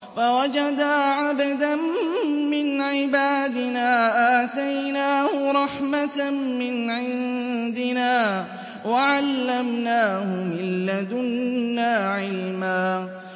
فَوَجَدَا عَبْدًا مِّنْ عِبَادِنَا آتَيْنَاهُ رَحْمَةً مِّنْ عِندِنَا وَعَلَّمْنَاهُ مِن لَّدُنَّا عِلْمًا